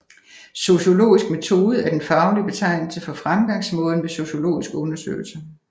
Sociologisk metode er den faglige betegnelse for fremgangsmåden ved sociologiske undersøgelser